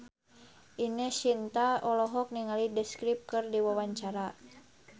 Ine Shintya olohok ningali The Script keur diwawancara